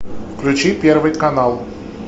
включи первый канал